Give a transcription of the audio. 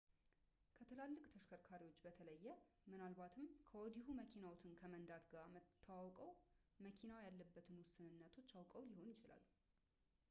ከትላልቅ ተሽከርካሪዎች በተለየ ምናልባትም ከወዲሁ መኪናዎትን ከመንዳት ጋር ተዋውቀው መኪናው ያለበትን ውስንነቶች አውቀው ሊሆን ይችላል